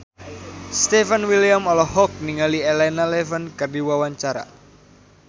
Stefan William olohok ningali Elena Levon keur diwawancara